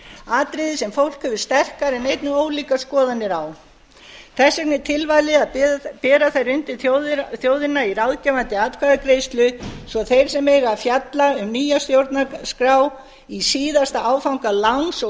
atriði sem fólk hefur sterkar en einnig ólíkar skoðanir á þess vegna er tilvalið að bera það undir þjóðina í ráðgefandi atkvæðagreiðslu svo þeir sem eiga að fjalla um nýja stjórnarskrá í síðasta áfanga láns og